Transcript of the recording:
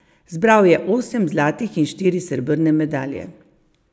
Zbral je osem zlatih in štiri srebrne medalje.